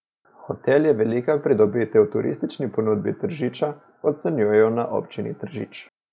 Hotel je velika pridobitev v turistični ponudbi Tržiča, ocenjujejo na Občini Tržič.